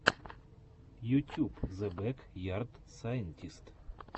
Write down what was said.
ютюб зе бэк ярд сайнтист